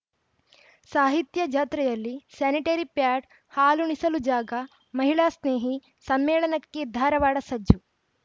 ಸಾಹಿತ್ಯ ಜಾತ್ರೆಯಲ್ಲಿ sanitary pad ಹಾಲುಣಿಸಲು ಜಾಗ ಮಹಿಳಾಸ್ನೇಹಿ ಸಮ್ಮೇಳನಕ್ಕೆ ಧಾರವಾಡ ಸಜ್ಜು